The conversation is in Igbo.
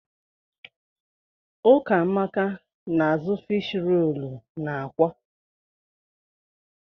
Ụkamaka na_azụ fiish roolu na àkwá.